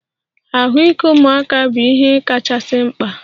Ahụike ụmụaka bụ ihe kachasị mkpa.